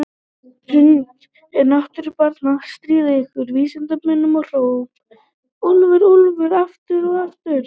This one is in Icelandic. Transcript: Hrund: Er náttúran bara að stríða ykkur vísindamönnunum og hrópa úlfur, úlfur aftur og aftur?